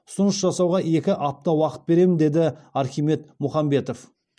ұсыныс жасауға екі апта уақыт беремін деді архимед мұхамбетов